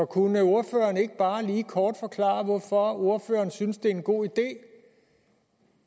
kunne ordføreren ikke bare lige kort forklare hvorfor ordføreren synes at det er en god idé